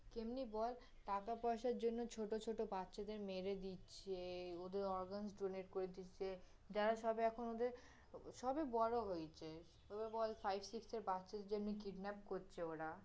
কেমনি বল, টাকা পয়সার জন্য় ছোটো ছোটো বাচ্চাদের মেরে দিচ্ছে, ওদের organ donate করে দিচ্ছে, যারা সব, এখন ওদের, সবই বড়ো হয়েছে, এবার বল five-six বাচ্চার জন্য় kidnap করছে ওরা